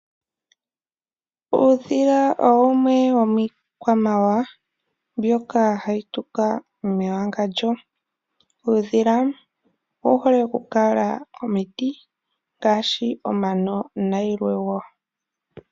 Uudhila owo wumwe wo miikwamawawa mbyoka hayi tuka mewangandjo. Uudhila owu hole okukala komiiti ngaashi omano nayilwe wo.